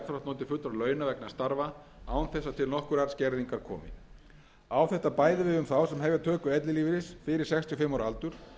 og jafnframt notið fullra launa vegna starfa án þess að til nokkurrar skerðingar komi á þetta bæði við um þá sem hefja töku ellilífeyris fyrir sextíu og fimm ára aldur